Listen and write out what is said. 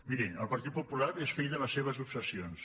miri el partit popular és fill de les seves obses sions